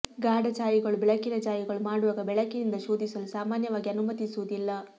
ಗಾಢ ಛಾಯೆಗಳು ಬೆಳಕಿನ ಛಾಯೆಗಳು ಮಾಡುವಾಗ ಬೆಳಕಿನಿಂದ ಶೋಧಿಸಲು ಸಾಮಾನ್ಯವಾಗಿ ಅನುಮತಿಸುವುದಿಲ್ಲ